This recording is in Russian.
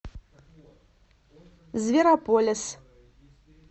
зверополис